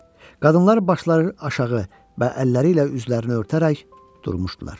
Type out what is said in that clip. Qadınlar başları aşağı və əlləri ilə üzlərini örtərək durmuşdular.